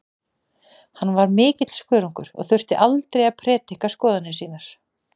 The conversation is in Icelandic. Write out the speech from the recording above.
Hann var mikill skörungur og þurfti aldrei að prédika skoðanir sínar.